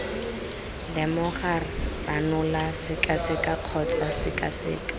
lemoga ranola sekaseka kgotsa sekaseka